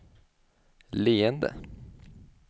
leende